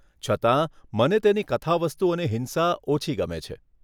છતાં, મને તેની કથાવસ્તુ અને હિંસા ઓછી ગમે છે.